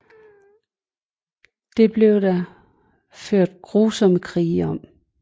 Det blev der ført grusomme krige om